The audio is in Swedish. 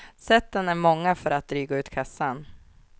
Sätten är många för att dryga ut kassan.